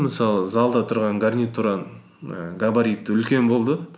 мысалы залда тұрған гарнитураның ііі габариты үлкен болды